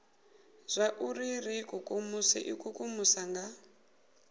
zwauri ri ikukumuse ikukumusa nga